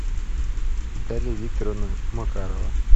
наталья викторовна макарова